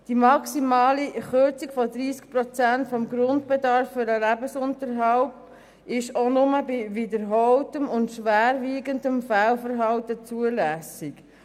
Die maximale Kürzung von 30 Prozent des Grundbedarfs für den Lebensunterhalt ist nur bei wiederholtem und schwerwiegendem Fehlverhalten zulässig.